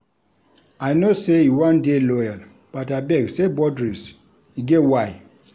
I know sey you wan dey loyal but abeg set boudaries, e get why.